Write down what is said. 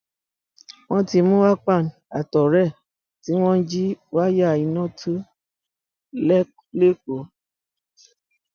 wọn ti mú akpan àtọrẹ ẹ tí wọn ń jí wáyà iná tu lẹkọọ